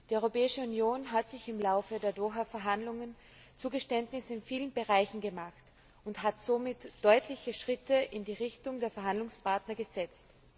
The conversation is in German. Die Europäische Union hat im Laufe der Doha Verhandlungen Zugeständnisse in vielen Bereichen gemacht und somit deutliche Schritte in Richtung der Verhandlungspartner gesetzt.